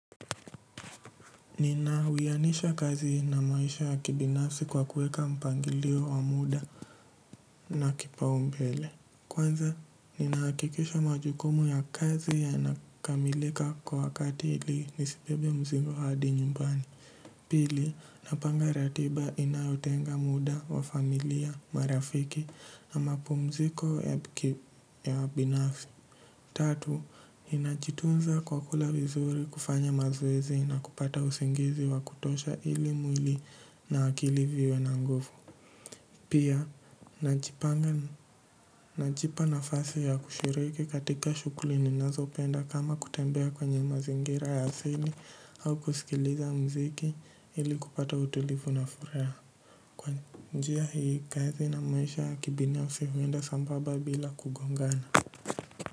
Nina wianisha kazi na maisha ya kibinafi kwa kuweka mpangilio wa muda na kipaumbele. Kwanza, ninahakikisha majukumu ya kazi yanakamilika kwa wakati ili nisibebe mzigo hadi nyumbani. Pili, napanga ratiba inayotenga muda wa familia marafiki na mapumziko ya binafsi. Tatu, ninajitunza kwa kula vizuri kufanya mazoezi na kupata usingizi wa kutosha ili mwili na akili viwe na nguvu. Pia, najipa nafasi ya kushiriki katika shughuli ninazopenda kama kutembea kwenye mazingira ya asili au kusikiliza muziki ili kupata utulivu na furaha. Kwa njia hii kazi na maisha ya kibinafsi huenda sambamba bila kugongana.